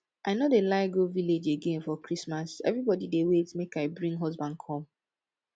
i no dey like go village again for christmas everybody dey wait make i bring husband come